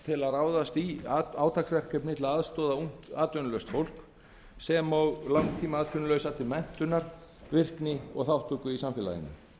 til að ráðast í átaksverkefni til að aðstoða ungt atvinnulaust fólk sem og langtímaatvinnulausa til menntunar virkni og þátttöku í samfélaginu